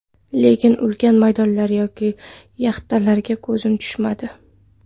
Lekin ulkan maydonlar yoki yaxtalarga ko‘zim tushmadi.